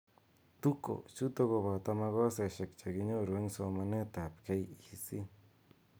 Tuko chutok ko boto makoseshek che kinyoru eng somanet ab KEC .